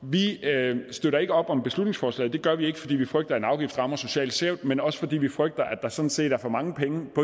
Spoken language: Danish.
vi støtter ikke op om beslutningsforslaget det gør vi ikke både fordi vi frygter at en afgift rammer socialt skævt men også fordi vi frygter at der sådan set er for mange